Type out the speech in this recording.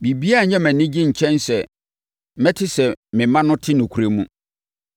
Biribiara nyɛ me anigye nkyɛn sɛ mɛte sɛ me mma no te nokorɛ mu.